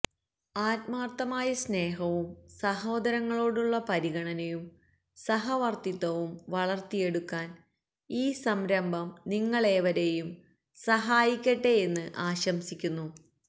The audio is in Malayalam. ആത്മാർത്ഥമായ സ്നേഹവും സഹോദരങ്ങളോടുള്ള പരിഗണനയും സഹവർത്തിത്വവും വളർത്തിയെടുക്കാൻ ഈ സംരംഭം നിങ്ങളേവരെയും സഹായിക്കട്ടെ യെന്ന് ആശംസിക്കുന്നു